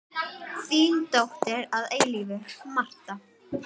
Þín dóttir að eilífu, Marta.